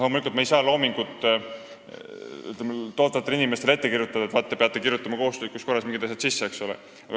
Loomulikult me ei saa loomingut tootvatele inimestele ette kirjutada, et te peate kohustuslikus korras mingid asjad sisse kirjutama.